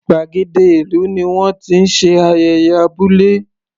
Gbàgéde ìlú ni wọ́n ti ń ṣe ayẹyẹ abúlé.